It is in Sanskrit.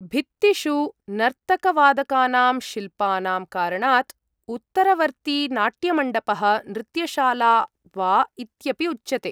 भित्तिषु नर्तकवादकानां शिल्पानां कारणात् उत्तरवर्ती नाट्यमण्डपः, नृत्यशाला वा इत्यपि उच्यते।